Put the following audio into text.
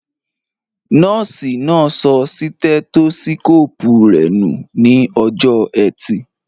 Nọ́ọ̀sì náà sọ sítẹ́tósíkóòpù rẹ nù ní ọjọ́ọ ẹtì